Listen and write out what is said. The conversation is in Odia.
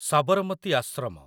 ସାବରମତୀ ଆଶ୍ରମ